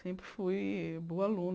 Sempre fui boa aluna.